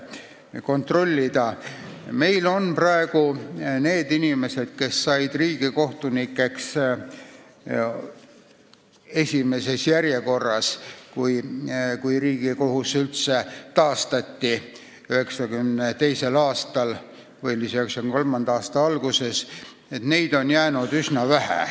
Neid inimesi, kes said riigikohtunikeks esimeses järjekorras, kui Riigikohus 1993. aastal taastati, on üsna vähe järele jäänud.